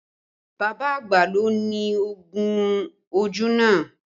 Bàbá àgbà ló ni oògùn ojú náà